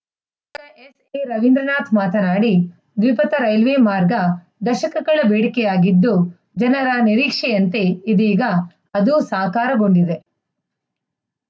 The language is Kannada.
ಎರವೀಂದ್ರನಾಥ್‌ ಮಾತನಾಡಿ ದ್ವಿಪಥ ರೈಲ್ವೆ ಮಾರ್ಗ ದಶಕಗಳ ಬೇಡಿಕೆಯಾಗಿದ್ದು ಜನರ ನಿರೀಕ್ಷೆಯಂತೆ ಇದೀಗ ಅದೂ ಸಾಕಾರಗೊಂಡಿದೆ